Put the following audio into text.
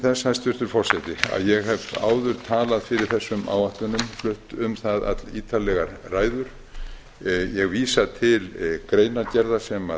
þess hæstvirtur forseti að ég hef áður talað fyrir þessum áætlunum flutt um það allítarlegar ræður ég vísa til greinargerða sem